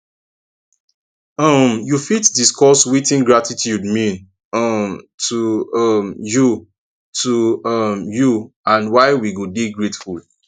um you fit discuss wetin gratitude mean um to um you to um you and why we go dey grateful